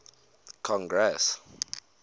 congress